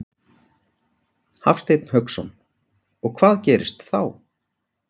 Hafsteinn Hauksson: Og hvað gerist þá?